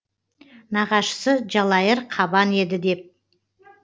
нағашысы жалайыр қабан еді деп